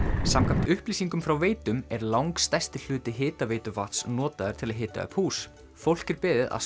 samkvæmt upplýsingum frá Veitum er langstærsti hluti hitaveituvatns notaður til að hita upp hús fólk er beðið að